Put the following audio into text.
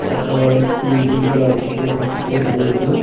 அப்ரோ அத சுத்தி வீடுகளா இருக்கு சின்ன சின்ன குட்டியா தெரியுது.